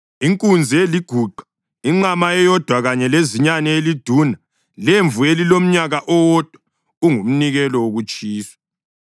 inkunzi eliguqa, inqama eyodwa kanye lezinyane eliduna lemvu elilomnyaka owodwa, kungumnikelo wokutshiswa;